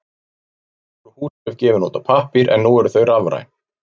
Áður voru húsbréf gefin út á pappír en nú eru þau rafræn.